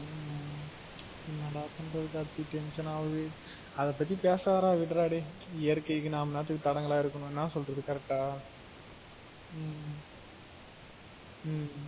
ஆமா ஏன்னா டா பண்றது கார்த்தி tension ஆவுது அத பத்தி பேசாத டா விடுறா டேயி இயற்க்கைக்கு நாம என்னத்துக்கு தடங்கலா இருக்கணும் ஏன்னா சொல்றது correct ஆ உம் உம் உம்